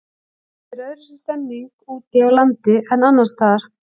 Það er öðruvísi stemming úti á landi en annarsstaðar.